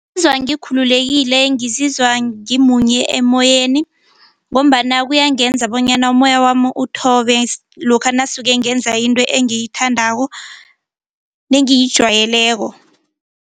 Ngikhululekile ngizizwa ngimunye emoyeni ngombana kuyangenza bonyana umoya wami uthobe lokha nasuke ngenza into engiyithandako nengiyijwayeleko.